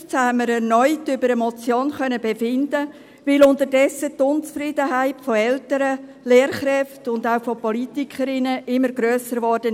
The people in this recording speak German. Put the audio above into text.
2015 haben wir erneut über eine Motion befinden können, weil unterdessen die Unzufriedenheit von Eltern, Lehrkräften und auch Politikerinnen immer grösser wurde.